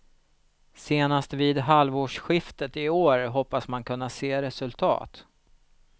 Senast vid halvårsskiftet i år hoppas man kunna se resultat.